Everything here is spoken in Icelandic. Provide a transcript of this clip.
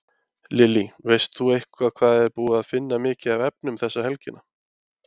Lillý: Veist þú eitthvað hvað er búið að finna mikið af efnum þessa helgi?